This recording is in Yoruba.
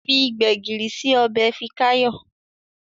Fí gbegiri sí Ọbẹ̀ Fikayo.